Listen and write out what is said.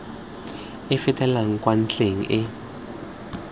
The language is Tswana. e fetelang kwa ntlheng e